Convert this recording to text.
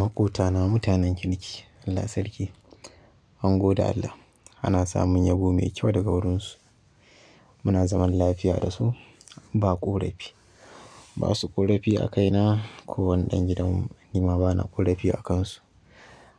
Maƙota na mutanen kirki, Allah sarki mungode Allah. Ana samun yabo mai kyau daga gurinsu. Muna zaman lafiya da su, ba ƙorafi, ba su ƙorafi a kaina. Ko wani ɗan gidan mu ni ma bana ƙorafi a kansu.